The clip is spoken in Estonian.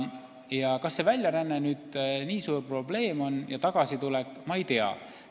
Ma ei tea, kas väljaränne ja tagasitulek on nii suur probleem.